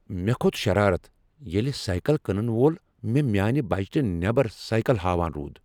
مےٚ کھوٚت شرارتھ ییٚلہ سایکل کٕنن وول مےٚ میٛانہ بجٹہٕ نیبر سایکل ہاوان روٗد ۔